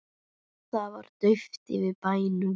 Það var dauft yfir bænum.